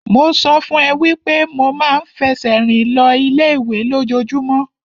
Mo sọ fún ẹ wípé mo ma ń fẹsẹ̀ rìn lọ ilé ìwé lójojúmọ́.